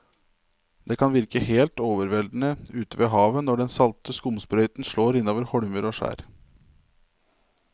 Det kan virke helt overveldende ute ved havet når den salte skumsprøyten slår innover holmer og skjær.